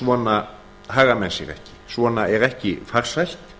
svona haga menn sér ekki svona er ekki farsælt